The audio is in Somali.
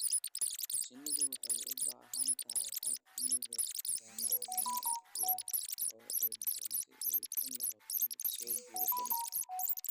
Shinnidu waxay u baahan tahay aag midab dhalaalaya leh oo udgoon si ay u noqoto mid soo jiidasho leh.